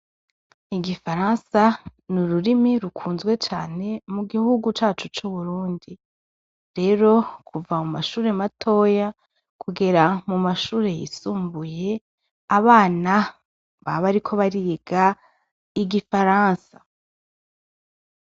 Igifaransa n'ururimi rukunzwe cane mu gihugu cacu c'u Burundi, rero kuva mu mashure matoya kugera mu mashure y'isumbuye abana baba bariko bariga igifaransa.